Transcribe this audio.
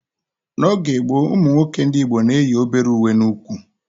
N'oge gboo, ụmụ nwoke ndị Igbo na-eyi obere uwe n'úkwù